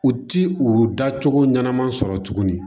U ti u dacogo ɲanama sɔrɔ tuguni